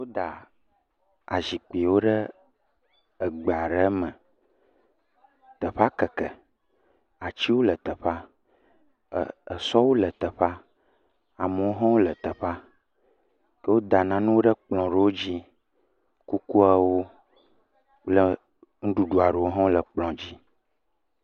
Woda azikpiwo ɖe egbe are me. Teƒea keke. Atsiwo le teƒea, ɛɛ esɔwo le teƒea, amewo hã wole teƒea. Ke woda nanewo ɖe kplɔ̃ ɖewo dzi. Kukuawo kple nuɖuɖu aɖewo hã wole kplɔ̃ dzi.